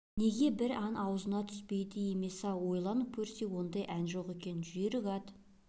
неге бір ән аузына түспейді емес-ау ойлап көрсе ондай ән жоқ екен жүйрік ат